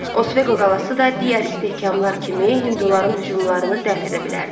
Osveqo qalası da digər istehkamlar kimi hinduların hücumlarını dəf edə bilərdi.